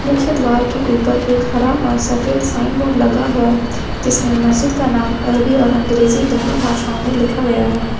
मुख्य द्वार के ऊपर एक हरा और सफेद साइन बोर्ड लगा हुआ जिसमें मस्जिद का नाम अरबी और अंग्रेजी दोनों भाषाओं में लिखा गया है।